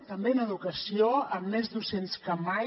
també en educació amb més docents que mai